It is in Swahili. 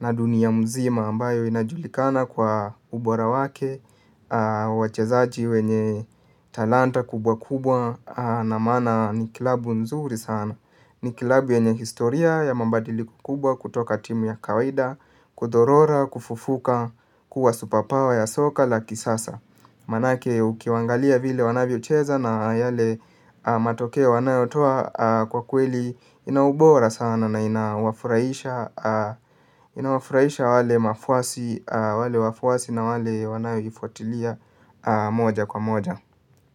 na dunia mzima ambayo inajulikana kwa ubora wake, wachezaji wenye talanta kubwa kubwa na maana ni kilabu nzuri sana. Ni kilabu yenye historia ya mabadiliko kubwa kutoka timu ya kawaida, kudhorora, kufufuka, kuwa supa pawa ya soka la kisasa. Maanake ukiwaangalia vile wanavyocheza na yale matokeo wanayotoa kwa kweli ina ubora sana na inawafurahisha inawafurahisha wale wafuasi na wale wanayoifuatilia moja kwa moja.